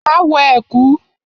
Máa wọ ẹ̀kú.